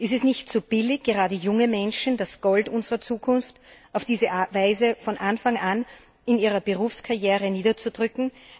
Ist es nicht zu billig, gerade junge Menschen, das Gold unserer Zukunft, auf diese Weise von Anfang an in ihrer Berufskarriere niederzudrücken?